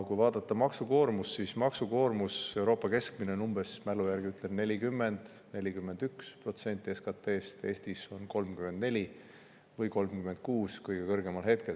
Kui vaadata maksukoormust, siis Euroopa keskmine maksukoormus on umbes, mälu järgi ütlen, 40–41% SKT-st, Eestis on see 34% või kõige kõrgemal hetkel 36%.